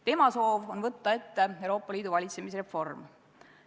Tema soov on võtta ette Euroopa Liidu valitsemise reform.